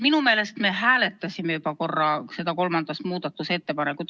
Minu meelest me hääletasime juba korra seda kolmandat muudatusettepanekut.